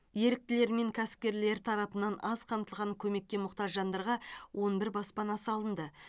еріктілер мен кәсіпкерлер тарапынан аз қамтылған көмекке мұқтаж жандарға он бір баспана салынды